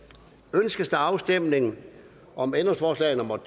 ønskes afstemning om ændringsforslag nummer